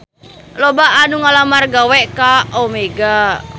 Loba anu ngalamar gawe ka Omega